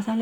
صاف جان